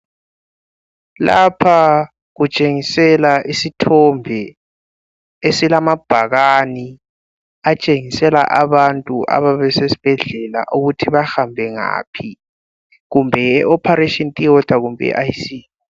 Lapha kutshengisela isithombe, esilamabhakane. Esitshengisela abantu ababesibhedlela ukuthi bahambe ngaphi. Kumbe yi operation theatre kumbe yiIC?